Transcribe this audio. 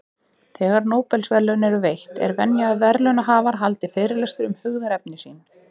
Þegar Nóbelsverðlaun eru veitt, er venja að verðlaunahafar haldi fyrirlestur um hugðarefni sín.